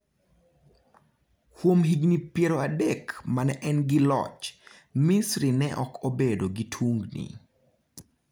Kuom higini piero adek ma ne en gi loch, Misri ne ok obedo gi tungini.